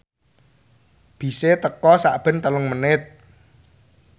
bise teka sakben telung menit